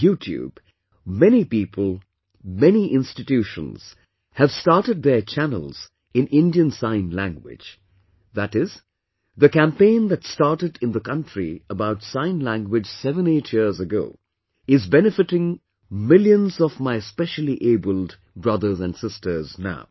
On YouTube, many people, many institutions, have started their channels in Indian Sign Language, that is, the campaign that started in the country about Sign Language 78 years ago, is benefitting millions of my speciallyabled brothers and sisters now